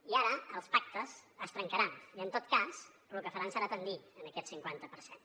i ara els pactes es trencaran i en tot cas lo que faran serà tendir a aquest cinquanta per cent